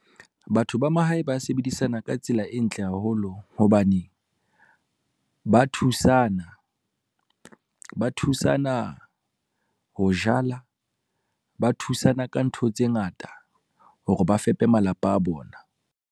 Batho ba mahae ba sebedisana ka tsela e ntle haholo hobane, ba thusana. Ba thusana ho jala, ba thusana ka ntho tse ngata hore ba fepe malapa a bona.